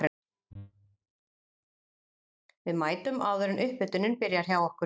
Við mætum áður en upphitunin byrjar hjá okkur.